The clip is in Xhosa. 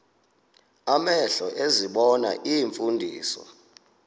amehlo ezibona iimfundiso